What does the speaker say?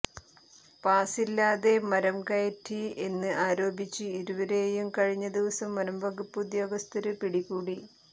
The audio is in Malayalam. പാസില്ലാതെ മരം കയറ്റി എന്ന് ആരോപിച്ച് ഇരുവരെയും കഴിഞ്ഞ ദിവസം വനം വകുപ്പ് ഉദ്യോഗസ്ഥര് പിടികൂടി